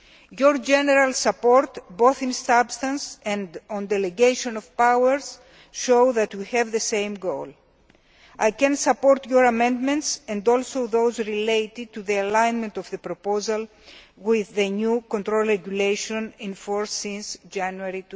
plans. Your general support, both on the substance and on the delegation of powers, shows that we have the same goal. I can support your amendments and those related to the alignment of the proposal with the new control regulation, in force since January